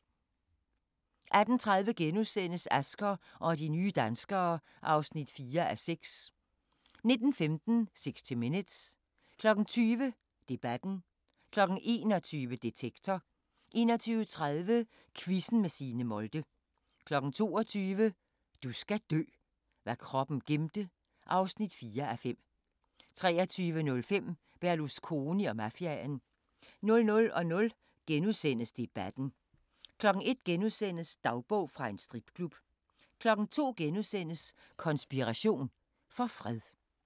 18:30: Asger og de nye danskere (4:6)* 19:15: 60 Minutes 20:00: Debatten 21:00: Detektor 21:30: Quizzen med Signe Molde 22:00: Du skal dø: Hvad kroppen gemte (4:5) 23:05: Berlusconi og mafiaen 00:00: Debatten * 01:00: Dagbog fra en stripklub * 02:00: Konspiration for fred *